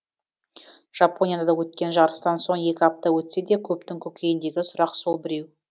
жапонияда өткен жарыстан соң екі апта өтсе де көптің көкейіндегі сұрақ сол біреу